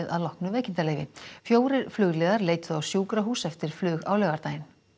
að loknu veikindaleyfi fjórir flugliðar leituðu á sjúkrahús eftir flug á laugardag